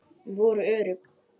Voru örugg.